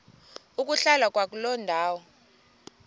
ukuhlala kwakuloo ndawo